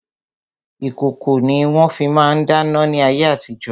Ìkòkò ni wọ́n fi ma ń dáná ní ayé àtijo.